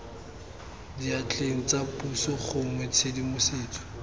diatleng tsa puso gongwe tshedimosetso